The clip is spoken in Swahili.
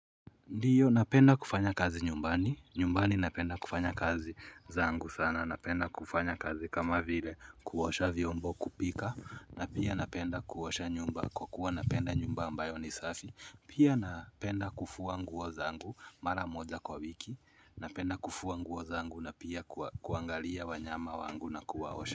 Ndiyo napenda kufanya kazi nyumbani, nyumbani napenda kufanya kazi zangu sana, napenda kufanya kazi kama vile kuosha vyombo kupika, napia napenda kuosha nyumba kwa kuwa napenda nyumba ambayo ni safi, pia napenda kufua nguo zangu mara moja kwa wiki, napenda kufua nguo zangu na pia kuangalia wanyama wangu na kuwaosha.